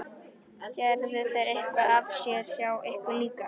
Gerðu þeir eitthvað af sér hjá ykkur líka?